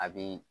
A bi